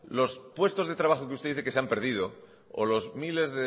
los puestos de trabajo que usted dice que se han perdido o los miles